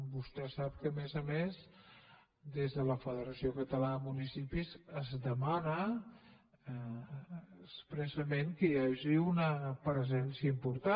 vostè sap que a més a més des de la federació catalana de municipis es demana expressament que hi hagi una presència important